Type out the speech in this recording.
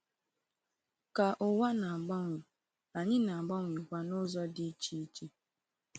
Ka ụwa na-agbanwe, anyị na-agbanwekwa n’ụzọ dị iche iche.